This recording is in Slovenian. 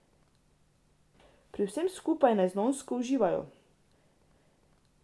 In pri vsem skupaj neznansko uživajo!